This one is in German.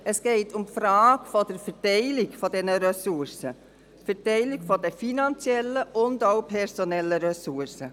Es geht um die Verteilung der finanziellen und personellen Ressourcen.